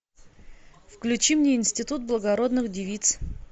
включи мне институт благородных девиц